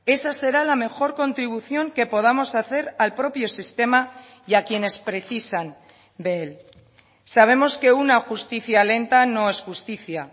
esa será la mejor contribución que podamos hacer al propio sistema y a quienes precisan de él sabemos que una justicia lenta no es justicia